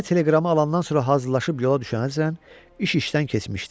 Mirzə telegramı alandan sonra hazırlaşıb yola düşənəcən iş işdən keçmişdi.